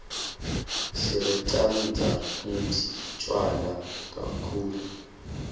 sireqatsamdzi tjwala kaktulu